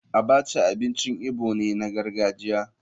Abacha abincin igbo ne na gargajiya.